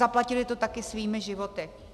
Zaplatili to taky svými životy.